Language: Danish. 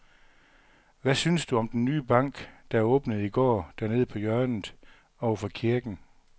Hvad synes du om den nye bank, der åbnede i går dernede på hjørnet over for kirken?